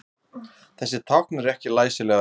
Þessi tákn eru ekki læsilegar rúnir.